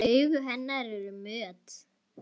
Augu hennar eru mött.